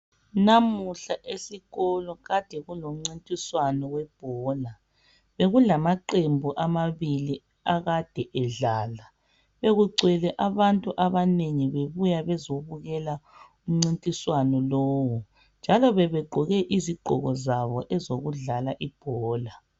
Namuhla esikolo Kade kulomncintiswano webhola bekulamaqembu amabili akade edlala bekugcwele abantu abanengi bebuya bezobukela umncintiswano lowu njalo begqoke izigqoko zabo ezokudlala ibhola.